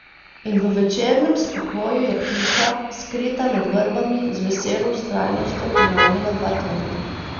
In v večernem spokoju je ptica, skrita med vrbami, z veselo vztrajnostjo ponavljala dva tona ...